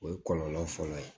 O ye kɔlɔlɔ fɔlɔ ye